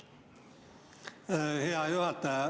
Hea juhataja!